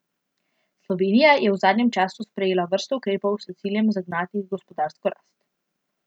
Slovenija je v zadnjem času sprejela vrsto ukrepov s ciljem zagnati gospodarsko rast.